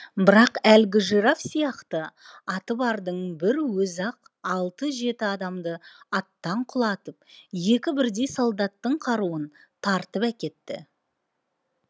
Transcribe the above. бірақ әлгі жираф сияқты аты бардың бір өзі ақ алты жеті адамды аттан құлатып екі бірдей солдаттың қаруын тартып әкетті